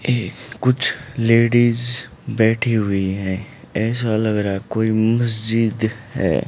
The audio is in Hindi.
ये कुछ लेडिज बैठी हुई हैं ऐसा लग रहा कोई मस्जिद है।